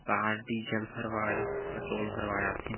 car diesel भरवाए petrol भरवाए आथे--